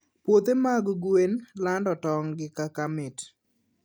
Puothe mag gwen lando tong` gi kaka mamit.